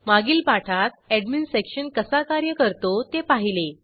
मागील पाठात admin section कसा कार्य करतो ते पाहिले